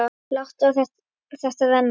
Láta á þetta reyna.